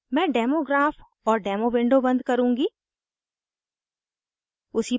मैं demo graph और demo window बन्द करुँगी